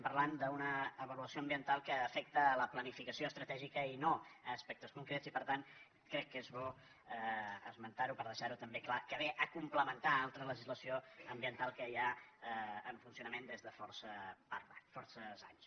parlem d’una avaluació ambiental que afecta la planificació estratègica i no aspectes concrets i per tant crec que és bo esmentar ho per deixar ho també clar que ve a complementar una altra legislació ambiental que hi ha en funcionament des de força anys